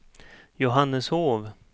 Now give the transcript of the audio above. Johanneshov